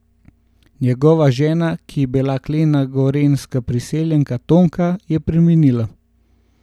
Njegova žena, ki je bila klena gorenjska priseljenka Tonka, je preminila.